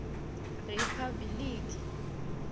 riphabiliki